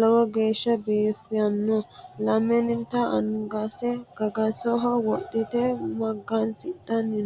lowo geeshsha biifanno, lamenta angase gagasoho wodhite magansidhanni no.